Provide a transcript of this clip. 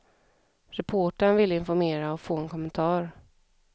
Reportern ville informera och få en kommentar.